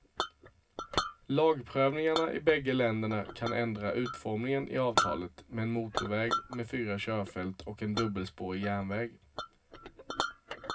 Lagprövningarna i bägge länderna kan ändra utformningen i avtalet, med en motorväg med fyra körfält och en dubbelspårig järnväg.